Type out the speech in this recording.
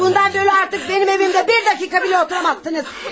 Bundan böylə artıq mənim evimdə bir dəqiqə belə otura bilməzsiniz.